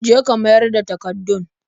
Je ka mayar da takardun.